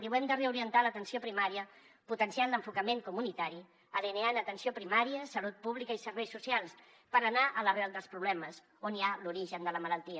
diu hem de reorientar l’atenció primària potenciant l’enfocament comunitari alineant atenció primària salut pública i serveis socials per anar a l’arrel dels problemes on hi ha l’origen de la malaltia